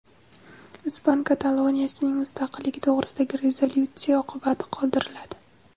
Ispan Kataloniyasining mustaqilligi to‘g‘risidagi rezolyutsiya oqibatsiz qoldiriladi.